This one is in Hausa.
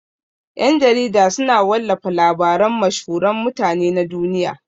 Ƴan-jarida suna wallafa labaran mashhuran mutane na duniya.